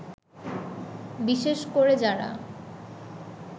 বিশেষ করে যারা